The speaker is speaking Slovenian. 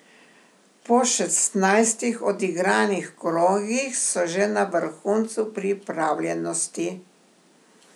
Po šestnajstih odigranih krogih so že na vrhuncu pripravljenosti!